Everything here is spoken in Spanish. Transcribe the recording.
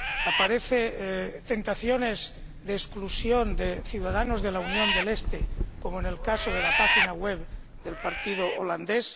aparecen tentaciones de exclusión de ciudadanos de la Unión procedentes del este, como en el caso de la página web del partido neerlandés